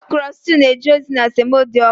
okro stew na-eje ozi na semo dị ọkụ